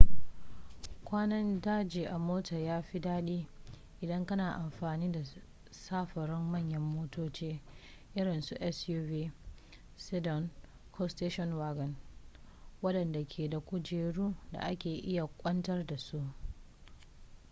kwanan daji a mota ya fi dadi idan kana amfani da samfurin manyan motoci irinsu suv sedan ko station wagon wadanda ke da kujeru da ake iya kwantar da su